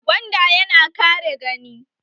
Gwanda ya na kare gani